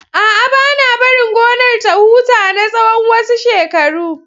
A'a, ba na barin gonar ta huta na tsawon wasu shekaru.